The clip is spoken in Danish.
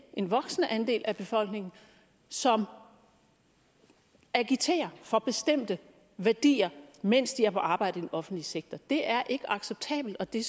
en voksende andel af befolkningen som agiterer for bestemte værdier mens de er på arbejde i den offentlige sektor det er ikke acceptabelt og det